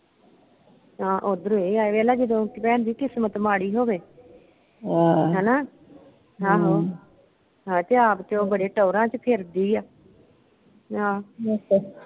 ਹਾਂ ਉਧਰੋਂ ਇਹ ਆਏ ਵੇਲ ਲਾ ਜਦੋਂ ਭੈਣ ਜੀ ਕਿਸਮਤ ਮਾੜੀ ਹੋਵੇ। ਹਣਾ, ਆਹੋ। ਹੈ ਤੇ ਆਪ ਉਹ ਬੜੇ ਟੋਰਾ ਵਿਚ ਫਿਰਦੀ ਆ। ਆਹ